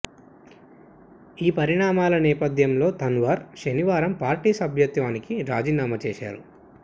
ఈ పరిణామాల నేపథ్యంలో తన్వార్ శనివారం పార్టీ సభ్యత్వానికి రాజీనామా చేశారు